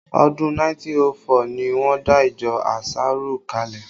Ọdún 1904 ni wọ́n dá ìjọ ànsárù kalẹ